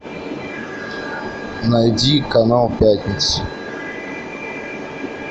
найди канал пятница